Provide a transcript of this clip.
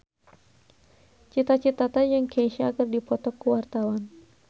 Cita Citata jeung Kesha keur dipoto ku wartawan